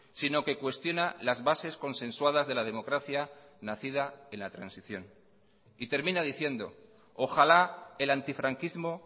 sino que cuestiona las bases consensuadas de la democracia nacida en la transición y termina diciendo ojalá el antifranquismo